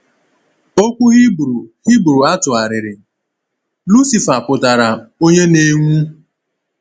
Okwu Hibru Hibru a tụgharịrị “Lucifer” pụtara “onye na-enwu.”